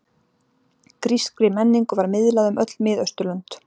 Grískri menningu var miðlað um öll Miðausturlönd.